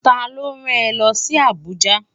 Ta ló rán è lòsi Abuja?